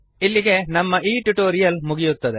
ಇಲ್ಲಿಗೆ ನಮ್ಮ ಈ ಟ್ಯುಟೋರಿಯಲ್ ಮುಗಿಯುತ್ತದೆ